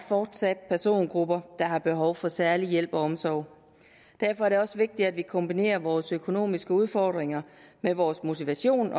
fortsat er persongrupper der har behov for særlig hjælp og omsorg derfor er det også vigtigt at vi kombinerer vores økonomiske udfordringer med vores motivation